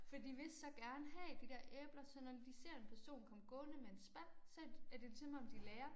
Fordi de vil så gerne have de dér æbler. Så når de ser en person komme gående med en spand så er det lige som om de lærer